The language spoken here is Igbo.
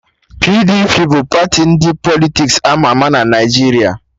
PDP bụ party ndị Politiks ama ama na Naijiria